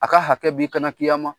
A ka hakɛ b'i kana kiyama